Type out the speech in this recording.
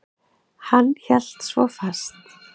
Hann hélt svo fast.